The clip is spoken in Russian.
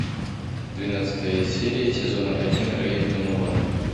двенадцатая серия сезона один рэй донован